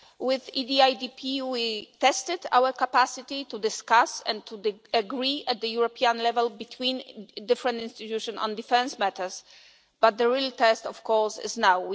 With the EDIDP we tested our capacity to discuss and to agree at European level between different institutions on defence matters, but the real test of course is now.